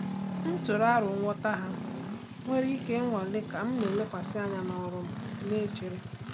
M tụrụ aro ngwọta ha nwere ike ịnwale ka m na-elekwasị anya n’ọrụ m na-echere.